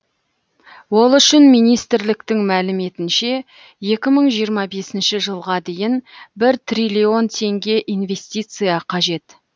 ол үшін министрліктің мәліметінше екі мың жиырма бесінші жылға дейін бір триллион теңге инвестиция қажет